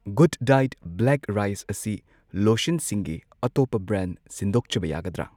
Good diet black rice ꯑꯁꯤ ꯂꯣꯁꯟꯁꯤꯡꯒꯤ ꯑꯇꯣꯞꯄ ꯕ꯭ꯔꯥꯟ ꯁꯤꯟꯗꯣꯛꯆꯕ ꯌꯥꯒꯗ꯭ꯔ?